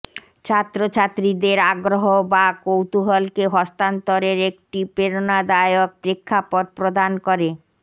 ছাত্রছাত্রীদের আগ্রহ বা কৌতূহলকে হস্তান্তরের একটি প্রেরণাদায়ক প্রেক্ষাপট প্রদান করে